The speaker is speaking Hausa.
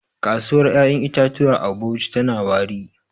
Kasuwar 'ya'yan itatuwa a Bauchi tana wari.